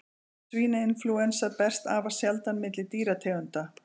Svínainflúensa berst afar sjaldan milli dýrategunda.